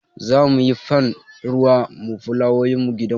Za mu yi ban ruwa ma fulawowin gidanmu.